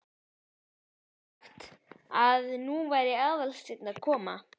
Dísu sagt að nú væri Aðalsteinn að koma.